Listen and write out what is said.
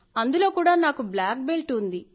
అందులో కూడా నాకు బ్లాక్ బెల్ట్ ఉంది